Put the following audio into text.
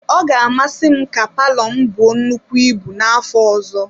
Ọ ga-amasị m ka palọ m buo nnukwu ibu n'afọ ọzọ.